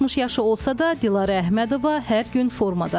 60 yaşı olsa da, Dilarə Əhmədova hər gün formadadır.